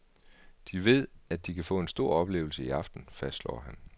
De ved, at de kan få en stor oplevelse i aften, fastslår han.